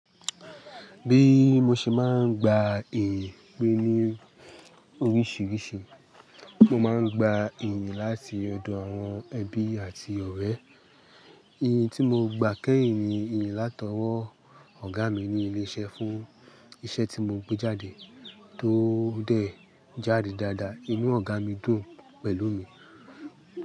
Bí mo ṣe máa ń gba iyì pé ní oríṣìíríṣìí, mo máa ń gba iyì láti ọ̀dọ̀ àwọn ẹbí àti ọ̀rẹ́. Iyì tí mo gba kẹ́yìn ni iyì látọwọ́ ọ̀gá mi ní ilé iṣẹ́ fún iṣẹ́ tí mo gbé jáde tó dẹ̀ jáde dáadáa. Inú ọ̀gá mi dùn pẹ̀lú mi.